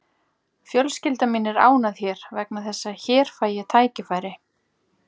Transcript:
Fjölskylda mín er ánægð hér vegna þess að hér fæ ég tækifæri.